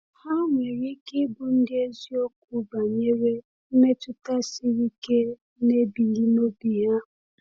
Ha nwere ike ịbụ ndị eziokwu banyere mmetụta siri ike na-ebili n’obi ha.